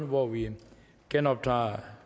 hvor vi genoptager